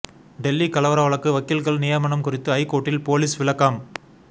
டெல்லி கலவர வழக்கு வக்கீல்கள் நியமனம் குறித்து ஐகோர்ட்டில் போலீஸ் விளக்கம்